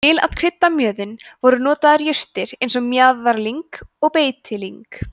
til að krydda mjöðinn voru notaðar jurtir eins og mjaðarlyng og beitilyng